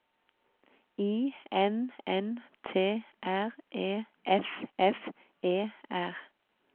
I N N T R E F F E R